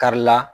Karila